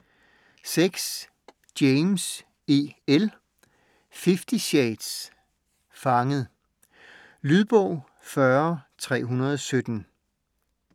James, E. L.: Fifty shades: Fanget Lydbog 40317